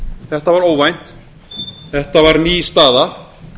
þetta var óvænt þetta var ný staða